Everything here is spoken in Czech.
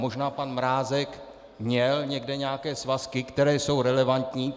Možná pan Mrázek měl někde nějaké svazky, které jsou relevantní.